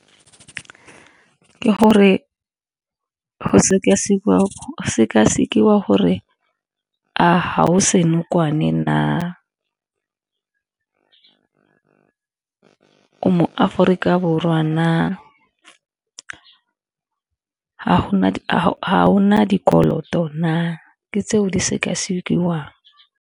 Ke gore go seka-sekiwa gore a ga o senokwane na, o mo Aforika Borwa na. Ga ona dikoloto na, ke tseo di seka-sekiwang.